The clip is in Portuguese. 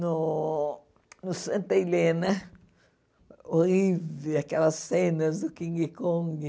No no Santa Helena, horrível, aquelas cenas do King Kong.